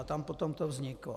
A tam to potom vzniklo.